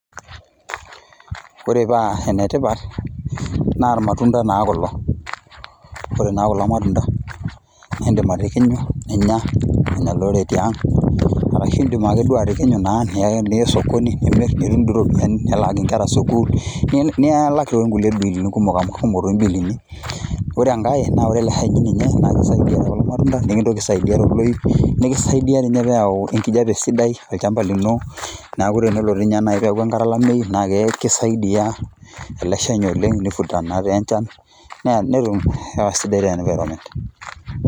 Ore paa enetipat, naa irmatunda naa kulo. Ore naa kulo matunda, nidim atikinyu, ninya, nenya olorere tiang',arashu idim nake atikinyu naa nia esokoni, nimir, nitum dii ropiyaiani, nilaaki nkera sukuul, niilak na nkulie bilini kumok amu kumok doi biilini. Ore enkae, na ore ele hani ninye na kisaidia tolmatunda, nikintoki aisaidia toloip, nikisaidia tinye peyau enkijape sidai olchamba lino, neeku tenelo tinye nai peeku enkata olameyu, na kisaidia ele shani oleng',ni vuta natenchan, netum hewa sidai te environment.